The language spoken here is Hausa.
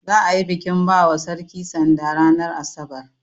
Za'a yi bikin bawa sarki sanda ranar asabar.